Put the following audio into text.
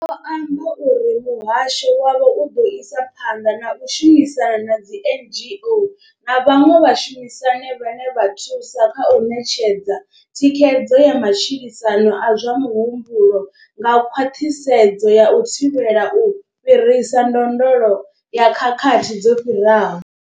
Vho amba uri muhasho wavho u ḓo isa phanḓa na u shumisana na dzi NGO na vhaṅwe vhashumisani vhane vha thusa kha u ṋetshedza thikhedzo ya matshilisano a zwa muhumbulo nga khwaṱhisedzo ya u thivhela u fhirisa ndondolo ya khakhathi dzo no fhiraho.